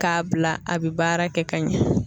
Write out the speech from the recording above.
K'a bila a bɛ baara kɛ ka ɲɛ